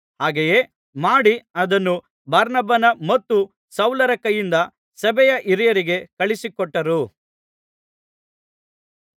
ಹಾಗೆಯೇ ಮಾಡಿ ಅದನ್ನು ಬಾರ್ನಬನ ಮತ್ತು ಸೌಲರ ಕೈಯಿಂದ ಸಭೆಯ ಹಿರಿಯರಿಗೆ ಕಳುಹಿಸಿಕೊಟ್ಟರು